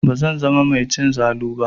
Bazan zama mai cin zalu ba.